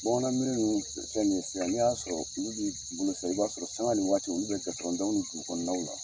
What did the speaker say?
Bamanan miri ninnu filɛ ni sisan n'i ya sɔrɔ olu b'i bolo sisan i b'a sɔrɔ sanŋa ni waati olu bɛ gitɔrɔn daw ni dugu kɔnɔnaw la.